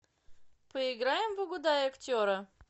поиграем в угадай актера